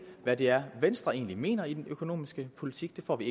hvad det er venstre egentlig mener i den økonomiske politik det får vi